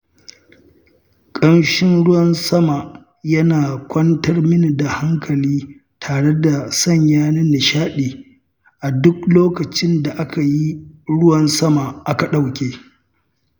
Ƙamshin ruwan sama yana kwantar min da hankali tare da sanya ni nishaɗi a duk lokacin da aka yi ruwan sama aka ɗauke.